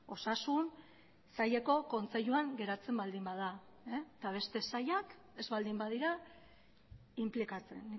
osasun saileko kontseiluan geratzen baldin bada eta beste sailak ez baldin badira inplikatzen